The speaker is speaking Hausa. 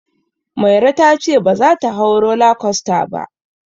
Mairo ta ce baza ta hau roller coaster ba.